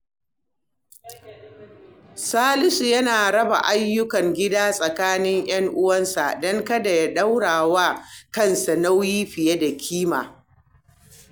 Salisu yana raba ayyukan gida tsakanin ‘yan uwansa don kada ya daura wa kansa nauyi fiye da kima.